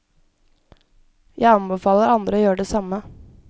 Jeg anbefaler andre å gjøre det samme.